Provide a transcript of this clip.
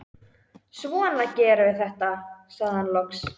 Svona gerum við þetta, sagði hann loks.